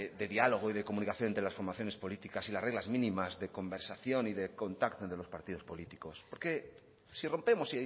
de diálogo y de comunicación entre las formaciones políticas y las reglas mínimas de conversación y de contacto entre los partidos políticos porque si rompemos